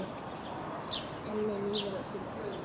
Þannig líður öllum best.